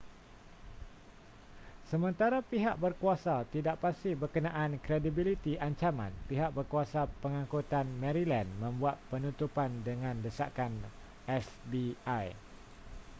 sementara pihak berkuasa tidak pasti berkenaan kredibiliti ancaman pihak berkuasa pangangkutan maryland membuat penutupan dengan desakan fbi